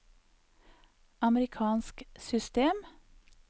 amerikansk system